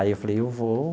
Aí eu falei, eu vou.